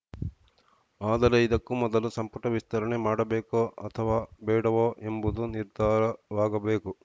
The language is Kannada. ಆದರೆ ಇದಕ್ಕೂ ಮೊದಲು ಸಂಪುಟ ವಿಸ್ತರಣೆ ಮಾಡಬೇಕೋ ಅಥವಾ ಬೇಡವೋ ಎಂಬುದು ನಿರ್ಧಾರವಾಗಬೇಕು